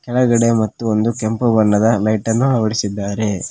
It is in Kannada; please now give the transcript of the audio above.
ಒಳಗಡೆ ಮತ್ತು ಒಂದು ಕೆಂಪು ಬಣ್ಣದ ಲೈಟನ್ನು ಅಳವಡಿಸಿದ್ದಾರೆ.